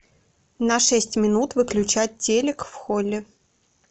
на шесть минут выключать телик в холле